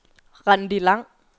Randi Lang